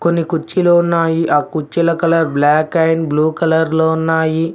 కొన్ని కుర్చీలు ఉన్నాయి ఆ కుర్చీల కలర్ బ్లాక్ అండ్ బ్లూ కలర్లో ఉన్నాయి.